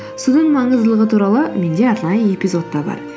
судың маңыздылығы туралы менде арнайы эпизод та бар